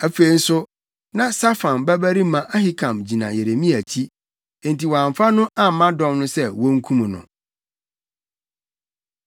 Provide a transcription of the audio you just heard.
Afei nso, na Safan babarima Ahikam gyina Yeremia akyi, enti wɔamfa no amma dɔm no sɛ wonkum no.